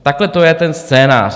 Takhle to je ten scénář.